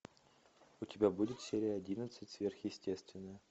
у тебя будет серия одиннадцать сверхъестественное